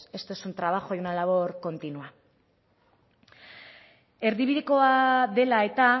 esto es un trabajo y una labor continua erdibidekoa dela eta